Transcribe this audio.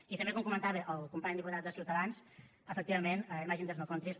i també com comentava el company diputat de ciutadans efectivament imagine there’s no countries